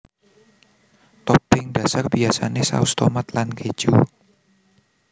Topping dhasar biasané saus tomat lan kéju